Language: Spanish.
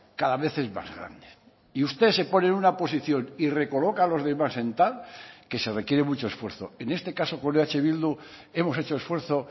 cada vez es más grande y usted se pone en una posición y recoloca a los demás en tal que se requiere mucho esfuerzo en este caso con eh bildu hemos hecho esfuerzo